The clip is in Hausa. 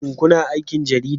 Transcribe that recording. Shin kuna aikin Jarida?